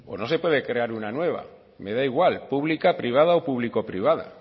no se puede crear una nueva me da igual pública privada o público privada